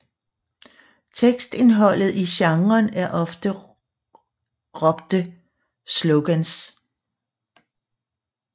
Tekstindholdet i genren er ofte råbte slogans